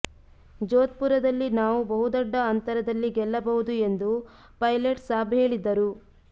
ಜೋಧ್ಪುರದಲ್ಲಿ ನಾವು ಬಹುದೊಡ್ಡ ಅಂತರದಲ್ಲಿ ಗೆಲ್ಲಬಹುದು ಎಂದು ಪೈಲಟ್ ಸಾಬ್ ಹೇಳಿದ್ದರು